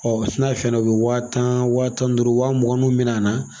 Ɔ n'a ye fɛndɔ u bɛ wa tan wa tan ni duuru wa muganninw minɛ a na